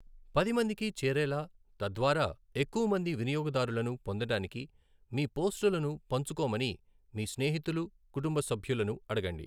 పదిమందికి చేరేలా, తద్వారా ఎక్కువమంది వినియోగదారులను పొందడానికి మీ పోస్టులను పంచుకోమని మీ స్నేహితులు, కుటుంబ సభ్యులను అడగండి.